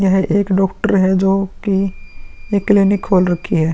यह एक डॉक्टर है जोकि एक क्लिनिक खोल रखी है।